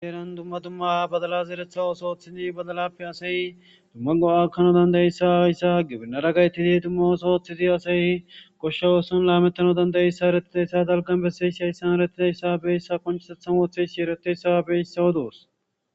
Heeran dumma dumma badalazi eretha ooso ooththidi badalappe asay dumma go'akano dandayissa ayssa gibinara gaytidi dumma oso ooththidi asay goshsho ooson laamettano dandayissa erettidayssa daalgan besayiss hayssan erettida issa beeyissa konchisethan woothe shiereteyssa beyisawo doos.